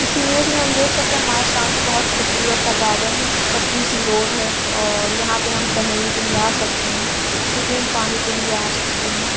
इस इमेज में हम देख सकते हैं हमारे सामने एक बहुत खुबसूरत सा गार्डन है पतली सी रोड है और यहाँ पे हम टहलने के लिए आ सकते हैं सुकून पाने के लिए आ सकते हैं।